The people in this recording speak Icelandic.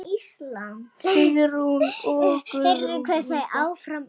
Sigrún og Guðrún Inga.